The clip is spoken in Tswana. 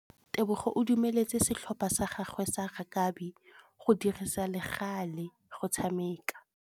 Tebogô o dumeletse setlhopha sa gagwe sa rakabi go dirisa le galê go tshameka.